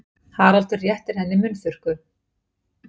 Haraldur réttir henni munnþurrku.